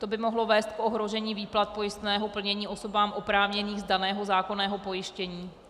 To by mohlo vést k ohrožení výplat pojistného plnění osobám oprávněných z daného zákonného pojištění.